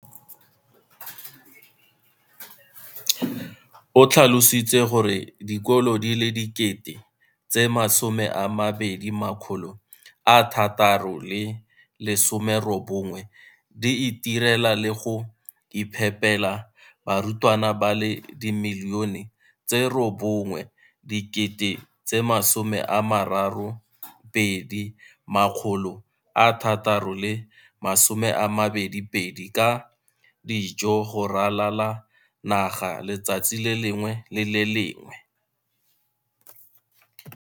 O tlhalositse gore dikolo di le 20 619 di itirela le go iphepela barutwana ba le 9 032 622 ka dijo go ralala naga letsatsi le lengwe le le lengwe.